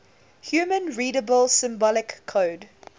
human readable symbolic code